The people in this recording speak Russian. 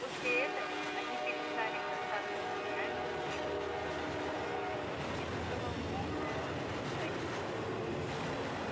после этого они перестали бросаться камнями и белый клык всё понял и почувствовал полное удовлетворение